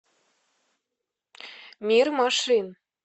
мир машин